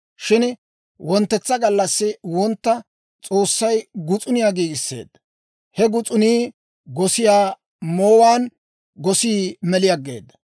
Shin wonttetsa gallassi wontta S'oossay gus'uniyaa giigisseedda; he gus'unii gosiyaa moowaan, gosii meli aggeeda.